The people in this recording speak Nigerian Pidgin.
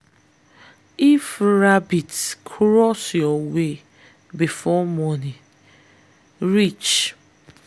if rabbit cross your way before morning reach no go farm dat day.